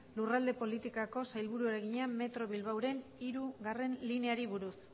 lurralde politikako sailburuari egina metro bilbaoren hirugarrena lineari buruz